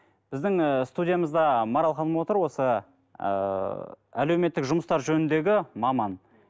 біздің ііі студиямызда марал ханым отыр осы ыыы әлеуметтік жұмыстар жөніндегі маман